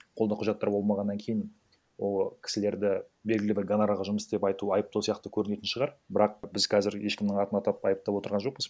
қолда құжаттары болмағаннан кейін ол кісілерді белгілі бір гонорарға жұмыс істеп айту айыптау сияқты көрінетін шығар бірақ біз қазір ешкімнің атын атап айыптап отырған жоқпыз